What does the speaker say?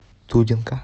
дудинка